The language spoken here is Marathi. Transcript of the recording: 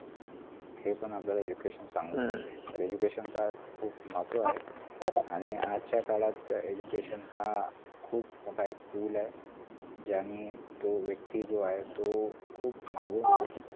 हे पण आपल्याला education तर education चा खूप महत्व ए आणि आजच्या काळात अं education हा खूप मोठा एक tool ए ज्यानी तो व्यक्ती जो आहे तो खूप मागून